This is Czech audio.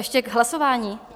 Ještě k hlasování?